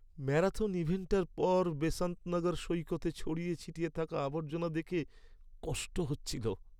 Marathon ইভেন্টটার পর বেসান্ত নগর সৈকতে ছড়িয়ে ছিটিয়ে থাকা আবর্জনা দেখে কষ্ট হচ্ছিল।